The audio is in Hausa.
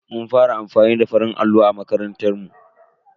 Mun fara amfani da farin allo a makarantar mu.